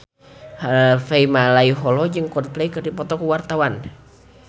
Harvey Malaiholo jeung Coldplay keur dipoto ku wartawan